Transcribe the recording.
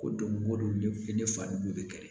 Ko don ko don ne fari bɛ kɛlɛ